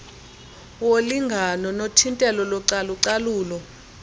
wolingano nothintelo localucalulo